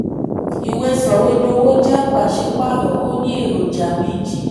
40. ìwé soìwédowo jẹ́ pàṣípààrọ̀ ó ní eroja méjì.